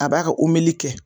A b'a ga omeli kɛ